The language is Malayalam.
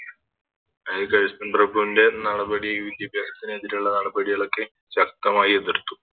അഹ് കൾസ്ൺ പ്രഭുവിൻറെ നടപടി വിദ്യാഭ്യാസത്തിന് എതിരുള്ള നടപടികൾ ഒക്കെ ശക്തമായി എതിർത്തു